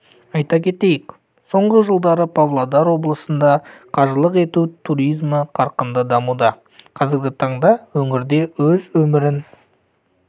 айта кетейік соңғы жылдары павлодар облысында қажылық ету туризмі қарқынды дамуда қазіргі таңда өңірде өз өмірін